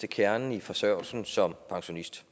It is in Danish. kernen i forsørgelsen som pensionist